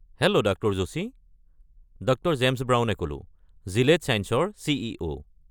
Hello doctor Joshi. Dr. James ব্ৰাউনে ক'লো, Gilead ছাইন্সেছৰ চি.ই.ও.।